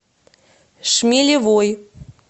шмелевой